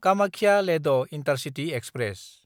कामाख्या–लेद intercity express